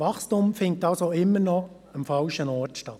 Wachstum findet also immer noch am falschen Ort statt.